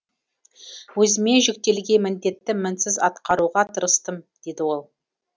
өзіме жүктелген міндетті мінсіз атқаруға тырыстым дейді ол